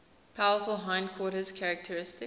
powerful hindquarters characteristic